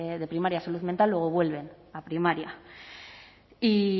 de primaria a salud mental luego vuelven a primaria y